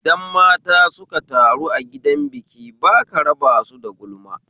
Idan mata suka taru a gidan biki baka raba su da gulma